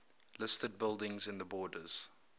listed buildings in the borders